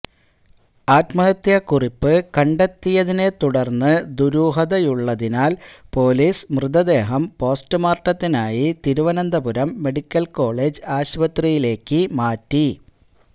ആത്മഹത്യാ കുറിപ്പ് കണ്ടെത്തിയതിനെ തുടർന്ന് ദുരുഹതയുള്ളതിനാൽ പൊലീസ് മൃതദേഹം പോസ്റ്റ് മാർട്ടത്തിനായി തിരുവനന്തപുരം മെഡിക്കൽ കോളേജ് ആശുപത്രിയിലേക്ക് മാറ്റി